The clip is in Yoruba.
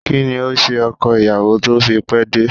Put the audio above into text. Kí ni o se ọkọ ìyàwó tó fi pé dé?